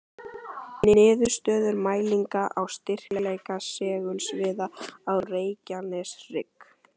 Niðurstöður mælinga á styrkleika segulsviða á Reykjaneshrygg.